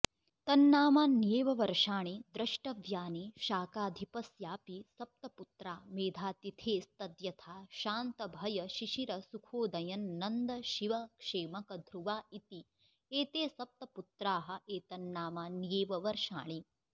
तन्नामान्येव वर्षाणि द्रष्टव्यानि शाकाधिपस्यापि सप्त पुत्रा मेधातिथेस्तद्यथा शान्तभयशिशिरसुखोदयंनन्दशिवक्षेमकध्रुवा इति एते सप्त पुत्राः एतन्नामान्येव वर्षाणि